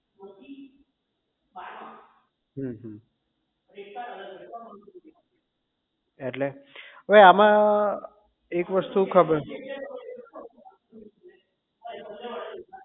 હમ અમ એટલે અવે આમાં એક વસ્તુ ખબર